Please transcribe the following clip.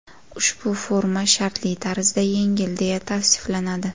Ushbu forma shartli tarzda yengil deya tavsiflanadi.